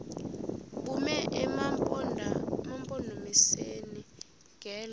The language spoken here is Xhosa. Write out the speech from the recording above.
bume emampondomiseni ngelo